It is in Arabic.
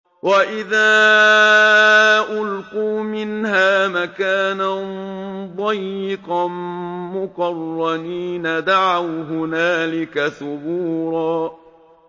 وَإِذَا أُلْقُوا مِنْهَا مَكَانًا ضَيِّقًا مُّقَرَّنِينَ دَعَوْا هُنَالِكَ ثُبُورًا